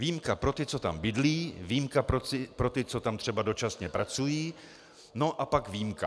Výjimka pro ty, co tam bydlí, výjimka pro ty, co tam třeba dočasně pracují, no a pak výjimka.